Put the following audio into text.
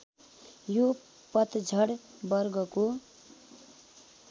यो पतझड वर्गको